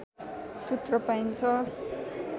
सूत्र पाइन्छ